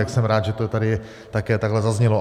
Tak jsem rád, že to tady také takhle zaznělo.